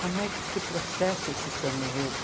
Como é que se processa esse samba-enredo?